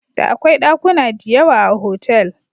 Da akwai ɗakuna diyawa a hotel.